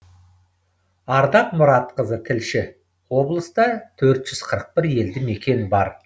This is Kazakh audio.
ардақ мұратқызы тілші облыста төрт жүз қырық бір елді мекен бар